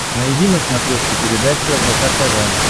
найди на смотрешке передачу рбк тв